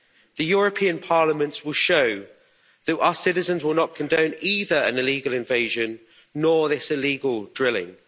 The European Parliament will show that our citizens will not condone either an illegal invasion or this illegal drilling.